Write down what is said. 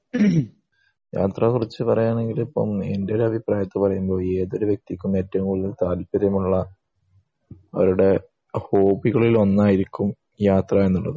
യാത്രയെക്കുറിച്ചു പറയുകയാണെങ്കിൽ എന്റെ അഭിപ്രായത്തിൽ പറയുമ്പോ ഈ ഏതൊരു വ്യക്തിക്കും ഏറ്റവും കൂടുതൽ താല്പര്യമുള്ള അവരുടെ ഹോബികളിൽ ഒന്നായിരിക്കും ഈ യാത്ര എന്നുപറയുന്നത്